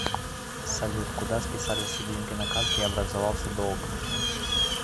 салют куда списались все деньги на карте и образовался долг